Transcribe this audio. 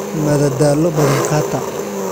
madadaalo badan qataa